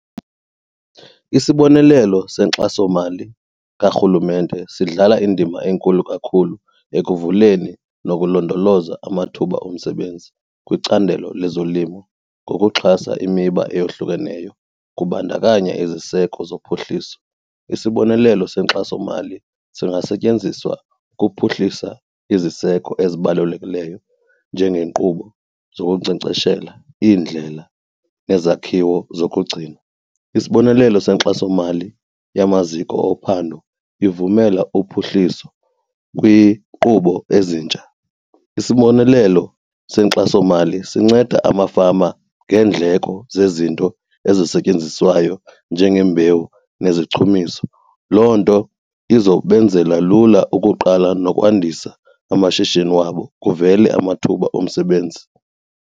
Isibonelelo senkxasomali kaRhulumente sidlala indima enkulu kakhulu ekuvuleni nokulondoloza amathuba omsebenzi kwicandelo lezolimo ngokuxhasa imiba eyohlukeneyo kubandakanya iziseko zophuhliso. Isibonelelo senkxasomali singasetyenziswa ukuphuhlisa iziseko ezibalulekileyo njengenkqubo zokunkcenkceshela, iindlela nezakhiwo zokugcina. Isibonelelo senkxasomali yamaziko ophando ivumela uphuhliso kwinkqubo ezintsha. Isibonelelo senkxasomali sinceda amafama ngeendleko zezinto ezisetyenziswayo njengembewu nezichumiso, loo nto izokwenzela lula ukuqala nokwandisa amashishini wabo kuvele amathuba omsebenzi.